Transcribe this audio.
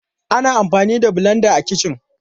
Ana amfani da blenda a kici.